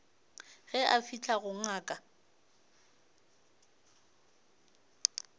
ge a fihla go ngaka